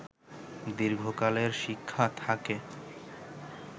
দীর্ঘকালের শিক্ষা থাকে